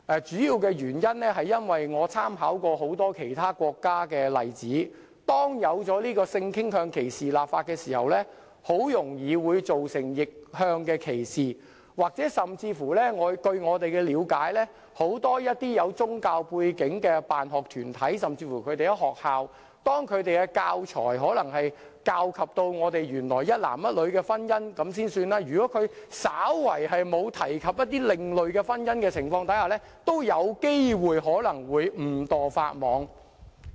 主要原因是，我曾參考其他國家的多個例子，發現就性傾向歧視立法後，很容易會造成逆向歧視；甚或據我們的了解，要是很多有宗教背景的辦學團體，甚至學校，在使用教材講述有關性傾向的內容時，以一男一女的婚姻為例，如果稍為沒有提及某些另類婚姻的情況，也有機會誤墮法網。